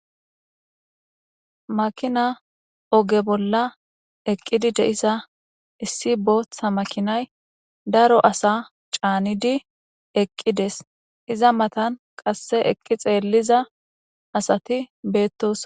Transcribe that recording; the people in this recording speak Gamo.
Makina oge bolla eqqidi de7issa issi booththa makinay daro asa caanidi eqqides iza matan qasse eqqi xeelliza asati beettos.